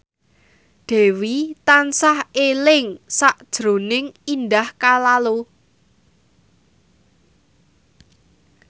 Dewi tansah eling sakjroning Indah Kalalo